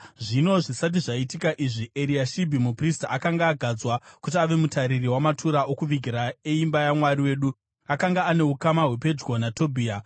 Zvino zvisati zvaitika izvi, Eriashibhi muprista akanga agadzwa kuti ave mutariri wamatura okuvigira eimba yaMwari wedu. Akanga ane ukama hwepedyo naTobhia,